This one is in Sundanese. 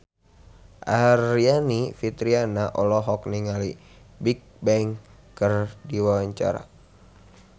Aryani Fitriana olohok ningali Bigbang keur diwawancara